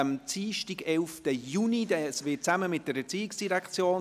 11. Juni findet eine gemeinsame Veranstaltung mit der ERZ statt.